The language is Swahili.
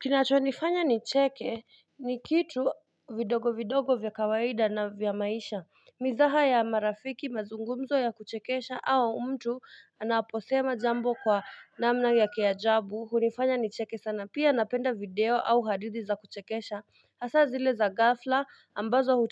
Kinacho nifanya nicheke ni kitu vidogo vidogo vya kawaida na vya maisha Mizaha ya marafiki mazungumzo ya kuchekesha au mtu anaposema jambo kwa namna ya kiajabu hunifanya nicheke sana pia napenda video au hadithi za kuchekesha Hasa zile za gafla ambazo